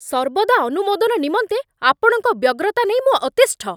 ସର୍ବଦା ଅନୁମୋଦନ ନିମନ୍ତେ ଆପଣଙ୍କ ବ୍ୟଗ୍ରତା ନେଇ ମୁଁ ଅତିଷ୍ଠ।